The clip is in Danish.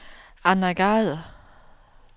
Anna Gade